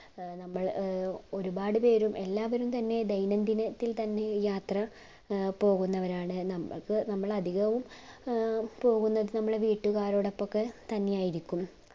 ഏർ നമ്മൾ ഏർ ഒരു പാട്പേരും എല്ലാവരും തെന്നെ ദൈന്യംദിനത്തിൽ തെന്നെ യാത്ര പോകുന്നവരാണ് നമ്മക് നമ്മൾ അധികവും പോകുന്നത് നമ്മുടെ വീട്ടുകാരോടാപ്പൊക്കെ തന്നേയായിരിക്കും